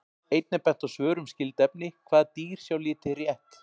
Einnig er bent á svör um skyld efni: Hvaða dýr sjá liti rétt?